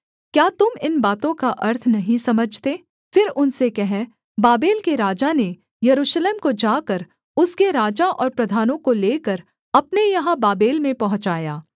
क्या तुम इन बातों का अर्थ नहीं समझते फिर उनसे कह बाबेल के राजा ने यरूशलेम को जाकर उसके राजा और प्रधानों को लेकर अपने यहाँ बाबेल में पहुँचाया